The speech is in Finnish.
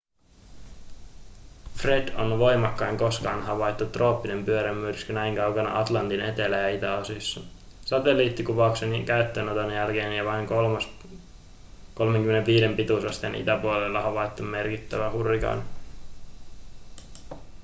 fred on voimakkain koskaan havaittu trooppinen pyörremyrsky näin kaukana atlantin etelä- ja itäosissa satelliittikuvauksen käyttöönoton jälkeen ja vain kolmas 35 pituusasteen itäpuolella havaittu merkittävä hurrikaani